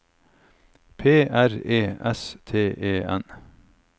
P R E S T E N